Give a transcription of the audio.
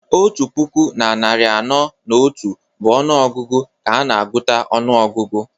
Otu puku na narị anọ na otu bụ ọnụ ọgụgụ ka a na-agụta ọnụọgụgụ